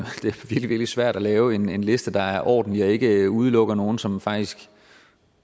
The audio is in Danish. virkelig svært at lave en liste der var ordentlig og ikke ikke udelukkede nogen som faktisk